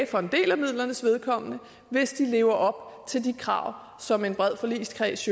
for en del af midlernes vedkommende får hvis de lever op til de krav som en bred forligskreds